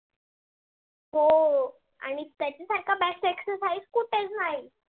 हो. आणि त्याच्यासारख best exercise कुठेच नाही.